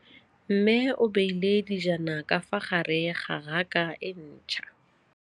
Mmê o beile dijana ka fa gare ga raka e ntšha.